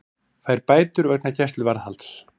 Fær bætur vegna gæsluvarðhalds